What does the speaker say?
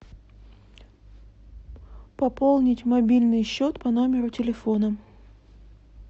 пополнить мобильный счет по номеру телефона